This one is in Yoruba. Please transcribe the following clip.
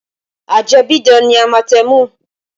Ajẹ́bíidán ni amatẹmù